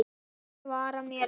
Hann svarar mér ekki.